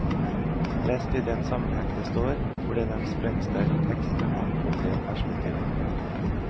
Lest i den sammenheng det står, blir det en sprengsterk tekst med mangfoldige perspektiver.